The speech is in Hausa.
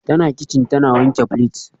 Tana kicin tana wanke plates